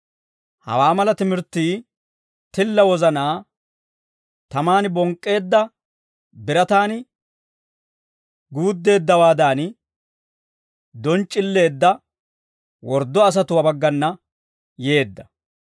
Hawaa mala timirttii, tilla wozanaa tamaan bonk'k'eedda birataan guuddeeddawaadan donc'c'illeedda worddo asatuwaa baggana yeedda.